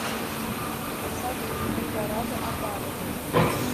салют эльдорадо обманывает